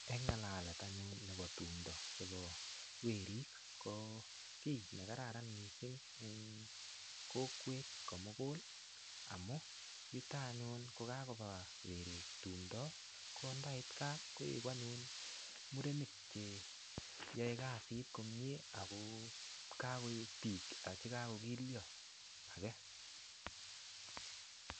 Eng ng'alalet anyun nebo tumdo chebo werik, ko kiy ne kararan missing eng kokwet ko mugul. Amu yutok anyun kokakoba werik tumdo, kondait gaa, koeku anyun murenik che yae kasit komyee, ako kakoek biik chekakokilyo age